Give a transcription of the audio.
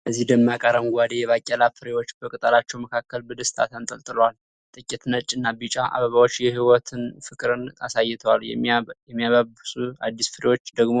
እነዚህ ደማቅ አረንጓዴ የባቄላ ፍሬዎች በቅጠላቸው መካከል በደስታ ተንጠልጥለዋል። ጥቂት ነጭና ቢጫ አበባዎች የህይወት ፍቅርን አሳይተዋል፤ የሚያብቡት አዲስ ፍሬዎች ደግሞ